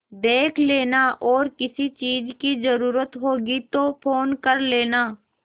देख लेना और किसी चीज की जरूरत होगी तो फ़ोन कर लेना